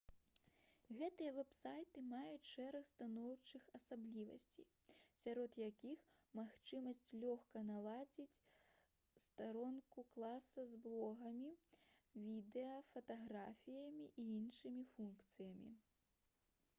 гэтыя вэб-сайты маюць шэраг станоўчых асаблівасцей сярод якіх магчымасць лёгка наладзіць старонку класа з блогамі відэа фатаграфіямі і іншымі функцыямі